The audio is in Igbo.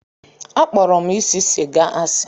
Akpọrọ m isi sịga asị.